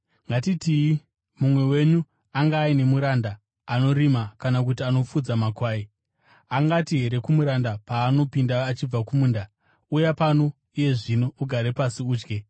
“Ngatitii mumwe wenyu anga aine muranda anorima kana kuti anofudza makwai. Angati here kumuranda paanopinda achibva kumunda, ‘Uya pano iye zvino ugare pasi udye’?